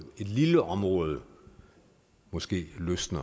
et lille område måske løsne